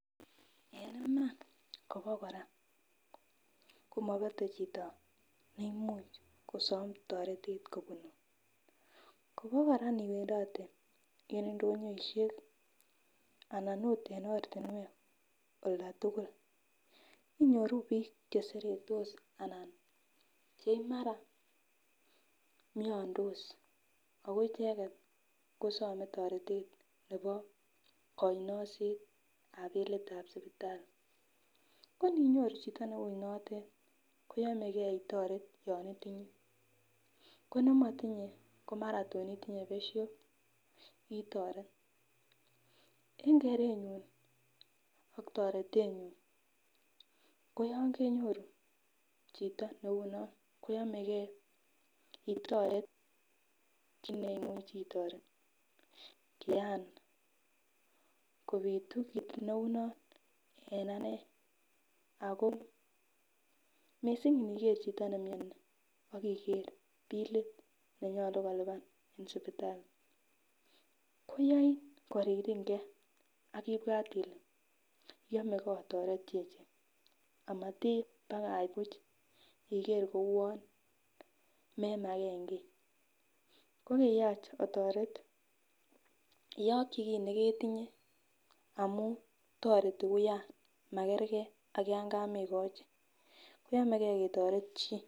En iman kobokora, komobete chito neimuch kosom toretet kobunun, Kobo Koraa niwendote en indonyoishek anan ot en ortinwek oldatukul inyoruu bik cheseretos anan komara miondo ako icheket kosome toretet nebo konyoisetab bilitab sipitali, koninyoru chito neu notet koyomegee itoret yon itinye ko nemotinye komara tun itinye besho itoret. En kerenyun ak toretenyun ko yon kenyoru chito neu non koyomegee itoret kit neimu itoret. Kian kopitu kit neu non en anee ako missing iniker chito nemioni ak iker bilit nenyolu kilipan en sipitali koyoi koriringee ak ibwat Ile yomegee itoret chichi amatibakach buch iker kouwon memagen kii, ko kiyach otoret iyoki kii neketinye amun toreti wuyan makerke ak yon komekochi koyomegee ketoret chii.